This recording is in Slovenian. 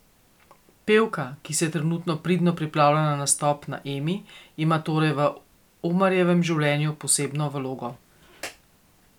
Pevka, ki se trenutno pridno pripravlja na nastop na Emi, ima torej v Omarjevem življenju posebno vlogo.